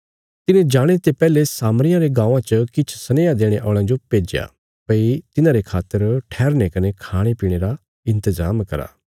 तिने जाणे ते पैहले सामरियां रे गाँवां च किछ सनेहा देणे औल़यां जो भेज्या भई तिन्हारे खातर ठैहरने कने खाणेपीणे रा इन्तजाम करा